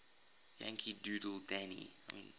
yankee doodle dandy